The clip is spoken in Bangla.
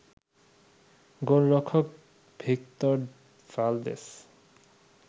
গোলরক্ষক ভিক্তর ভালদেস